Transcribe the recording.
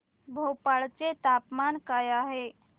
भोपाळ चे तापमान काय आहे